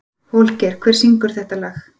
Holgeir, hver syngur þetta lag?